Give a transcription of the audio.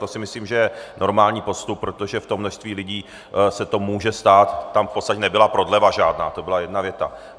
To si myslím, že je normální postup, protože v tom množství lidí se to může stát, tam v podstatě nebyla prodleva žádná, to byla jedna věta.